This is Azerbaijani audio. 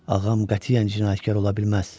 Ağam qətiyyən cinayətkar ola bilməz.